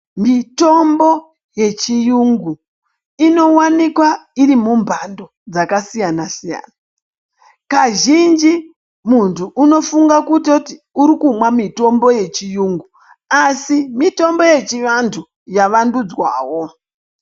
Mitombo yechiyungu inowanikwa iri mumhando dzakasiyana-siyana. Kazhinji muntu unofunga kutoti uri kumwa mitombo yechiyungu asi mitombo yechivantu yavandudzwawo.